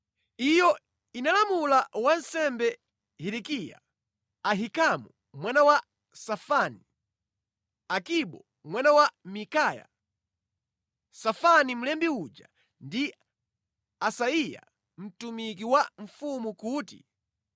Iyo inalamula wansembe Hilikiya, Ahikamu mwana wa Safani, Akibo mwana wa Mikaya, Safani mlembi uja ndi Asaiya mtumiki wa mfumu, kuti,